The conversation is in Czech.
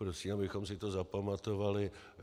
Prosím, abychom si to zapamatovali.